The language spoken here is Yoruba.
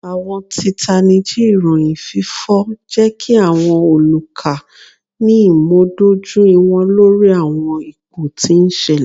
Awọn titaniji iroyin fifọ jẹ ki awọn oluka ni imudojuiwọn lori awọn ipo ti n ṣẹlẹ.